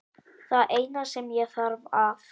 Það eina sem ég þarf að